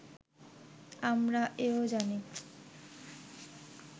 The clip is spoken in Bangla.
আমরা এ-ও জানি